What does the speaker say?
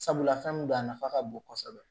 Sabula fɛn min don a nafa ka bon kosɛbɛ